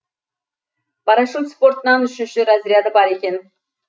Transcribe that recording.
парашют спортынан үшінші разряды бар екен